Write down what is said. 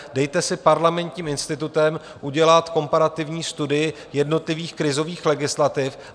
Dejte si Parlamentním institutem udělat komparativní studii jednotlivých krizových legislativ.